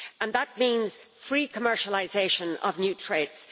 That means free commercialisation of new traits.